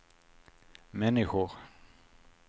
människor